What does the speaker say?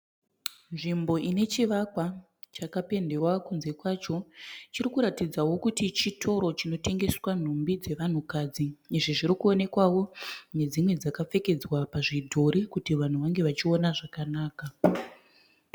Nzvimbo ine chivakwa chapendewa kunze kwacho. Chirikuratidzawo kuti chitoro chinotengeswa nhumbi dzevanhukadzi. Izvi zvirikuwonekwawo nedzimwe dzakapfekedzwa pazvidhori kuti vanhu vange vachiona zvakanaka.